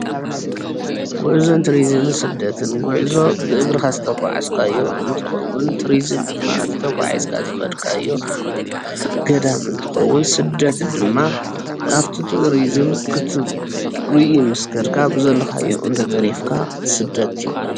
ጉዕዞን ቱሪዝምን ስደትን፡- ጉዕዞ ብእግርካ ዝተጓዓዝካዮ እንትከውን፤ ቱሩዙም ድማ እቲ ተጓዒዝካዮ ዝከድካዮ ገዳም እንትከውን፤ ስደት ድማ ኣብ እቲ ቱሪዝም ክትሪኢ ምስ ከድካ ብዘለካዮ ኣብኡ እንተተሪፍካ ስደት ይባሃል፡፡